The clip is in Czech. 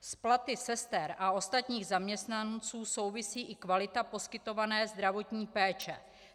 S platy sester a ostatních zaměstnanců souvisí i kvalita poskytované zdravotní péče.